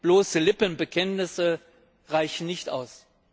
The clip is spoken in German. Bloße Lippenbekenntnisse reichen nicht aus.